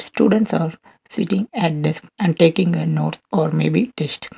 students are sitting an desk and taking uh nodth maybe test.